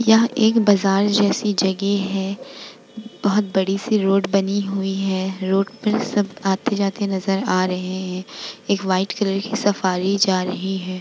यह एक बाजार जैसी जगह है बहुत बड़ी-सी रोड बनी हुई हैं रोड पर सब आते-जाते नजर आ रहे है एक व्हाइट कलर की सफारी जा रही है।